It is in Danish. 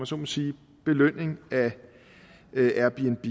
så må sige belønning af airbnb